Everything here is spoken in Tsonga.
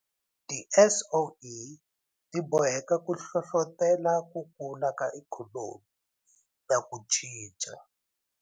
TiSOE ti boheka ku hlohlotela ku kula ka ikhonomi na ku cinca.